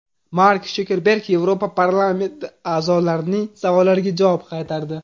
Mark Sukerberg Yevropa parlamenti a’zolarining savollariga javob qaytardi.